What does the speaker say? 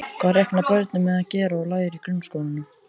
Hvað reikna börnin með að gera og læra í grunnskólanum?